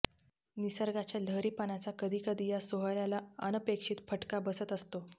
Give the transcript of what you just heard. निसर्गाच्या लहरीपणाचा कधी कधी या सोहळ्याला अनपेक्षित फटका बसत असतो